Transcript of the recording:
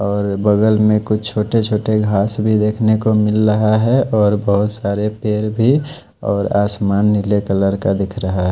और बगल में कुछ छोटे छोटे घास भी देख ने को मिल रहा है और बहत सारे पेड़ भी और आसमान नीले कलर का दिख रहा है।